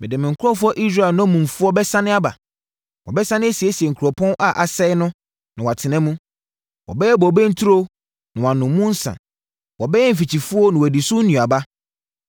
Mede me nkurɔfoɔ Israel nnommumfoɔ bɛsane aba. “Wɔbɛsane asiesie nkuropɔn a asɛeɛ no na wɔatena mu. Wɔbɛyɛ bobe nturo na wɔanom mu nsã; wɔbɛyɛ mfikyifuo na wɔadi so nnuaba.